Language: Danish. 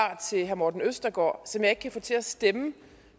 til herre morten østergaard som jeg ikke kan få til at stemme